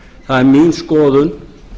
það er mín skoðun